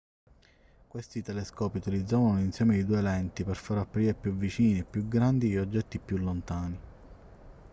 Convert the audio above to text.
questi telescopi utilizzavano un insieme di due lenti per far apparire più vicini e più grandi gli oggetti più lontani